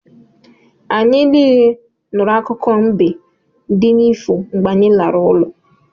Anyị niile nụrụ akụkọ mbe di n'ifo mgbe anyị lara ụlọ